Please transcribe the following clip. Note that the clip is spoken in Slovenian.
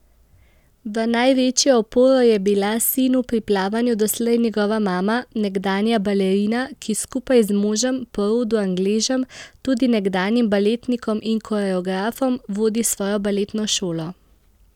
V največjo oporo je bila sinu pri plavanju doslej njegova mama, nekdanja balerina, ki skupaj z možem, po rodu Angležem, tudi nekdanjim baletnikom in koreografom, vodi svojo baletno šolo.